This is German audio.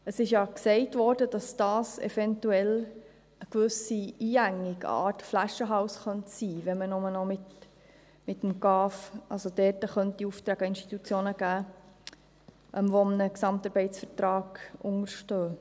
Es wurde ja gesagt, dass das eventuell eine gewisse Einengung, eine Art Flaschenhals sein könnte, wenn man nur noch mit dem GAV, also nur noch Institutionen Aufträge geben könnte, die einem GAV unterstehen.